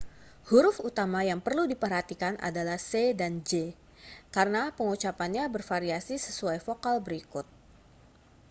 huruf utama yang perlu diperhatikan adalah c dan g karena pengucapannya bervariasi sesuai vokal berikut